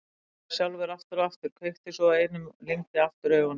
Hann þefaði sjálfur aftur og aftur, kveikti svo í einum og lygndi aftur augunum.